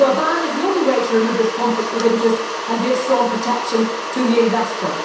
So a ban is the only way to remove this conflict of interest and give strong protection to the investor.